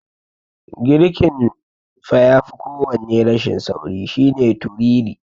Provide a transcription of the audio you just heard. Girkin fa yafi kowanne rashin sauri shine turiri.